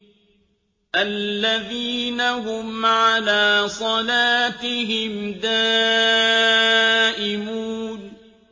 الَّذِينَ هُمْ عَلَىٰ صَلَاتِهِمْ دَائِمُونَ